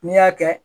N'i y'a kɛ